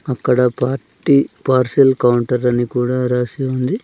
అక్కడ party parcel counter అని కూడా రాసి ఉంది.